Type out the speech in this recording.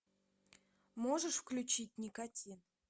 можешь включить никотин